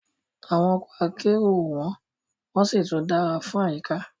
Awon oko akero o won won si tun dara fun ayika